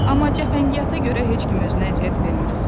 Amma cəfəngiyata görə heç kim özünə əziyyət verməz.